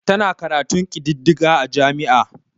Tana karatun kididdiga a jami'a.